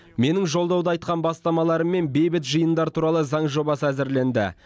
менің жолдауда айтқан бастамаларыммен бейбіт жиындар туралы заң жобасы әзірленді